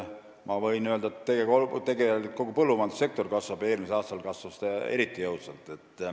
Ma võin öelda, et tegelikult kogu põllumajandussektor kasvab, eelmisel aastal kasvas eriti jõudsalt.